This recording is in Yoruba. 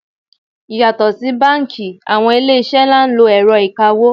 Yàtò fún báńkì, àwọn ilé iṣẹ́ ńlá ń lo ẹ̀rọ ìkawó.